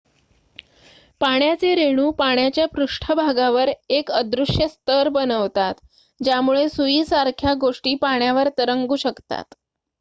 पाण्याचे रेणू पाण्याच्या पृष्ठभागावर एक अदृश्य स्तर बनवतात ज्यामुळे सुईसारख्या गोष्टी पाण्यावर तरंगू शकतात